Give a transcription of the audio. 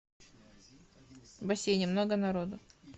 в бассейне много народу